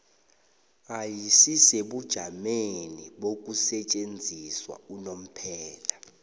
ayisisebujameni bokusetjenziswa unomphela